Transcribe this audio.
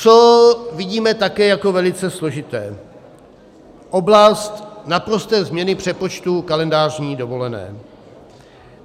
Co vidíme také jako velice složité, oblast naprosté změny přepočtu kalendářní dovolené.